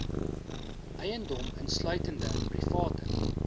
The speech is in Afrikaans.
eiendom insluitende private